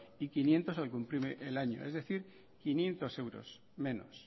y quinientos al cumplir el año es decir quinientos euros menos